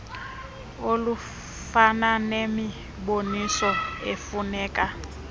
olufana nemiboniso efuneka